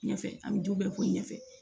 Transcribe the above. Ɲɛfɛ an bɛ du bɛɛ fɔ ɲɛ fɛ